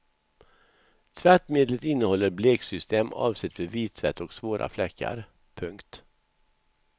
Tvättmedlet innehåller bleksystem avsett för vittvätt och svåra fläckar. punkt